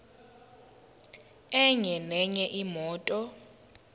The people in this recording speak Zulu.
enye nenye imoto